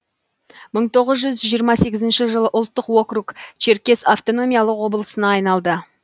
мың тоғыз жүз жиырма сегізінші жылы ұлттық округ черкес автономиялық облысына айналды